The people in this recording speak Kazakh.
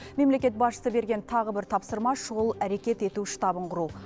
мемлекет басшысы берген тағы бір тапсырма шұғыл әрекет ету штабын құру